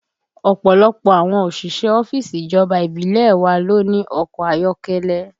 Ọ̀pọ̀lọpọ̀ àwọn òṣìṣẹ́ ọ́fíìsì ìjọba ìbílẹ̀ ẹ wa ló ní ọkọ ayọ́kẹ́lẹ́